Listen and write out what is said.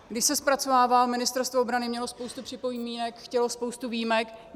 Když se zpracovával, Ministerstvo obrany mělo spoustu připomínek, chtělo spoustu výjimek.